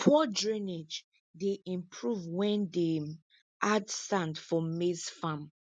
poor drainage dey improve when dem add sand for maize farm